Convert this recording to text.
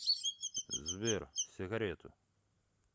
сбер сигарету